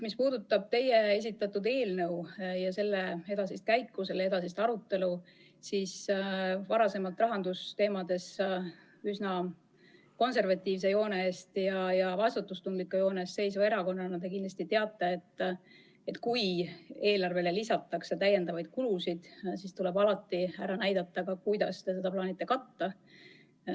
Mis puudutab teie esitatud eelnõu ja selle edasist käiku, selle edasist arutelu, siis varasemalt rahandusteemades üsna konservatiivse ja vastutustundliku joone eest seisva erakonnana te kindlasti teate, et kui eelarvesse lisatakse täiendavaid kulusid, siis tuleb alati ka ära näidata, kuidas te plaanite neid katta.